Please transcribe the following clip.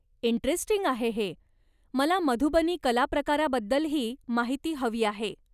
Interesting आहे हे, मला मधुबनी कला प्रकाराबद्दलही माहिती हवी आहे.